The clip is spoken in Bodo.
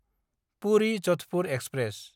पुरि–जधपुर एक्सप्रेस